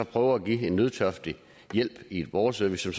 prøver at give en nødtørftig hjælp i borgerservice